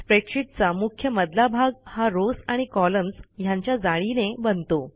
स्प्रेडशीटचा मुख्य मधला भाग हा रॉव्स आणि कॉलम्न्स ह्यांच्या जाळीने बनतो